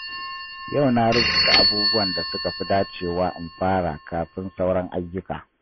Yau na rubuta abubuwan da suka fi dacewa in fara kafin sauran ayyuka.